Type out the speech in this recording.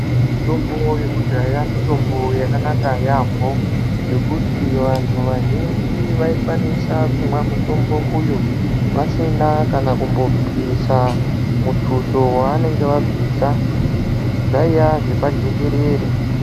Mitombo yekudhaya mitombo yakanaka yaamho. Ngekuti vanhu vazhinji vaikwanisa kumwa mutombo uyu vasina kana kumbobvisa mutuso wavanenge vabvisa. Zvaiya zvepajekerere